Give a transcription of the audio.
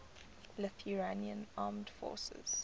lithuanian armed forces